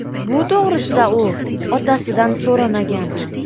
Bu to‘g‘risida u otasidan so‘ramagan ham.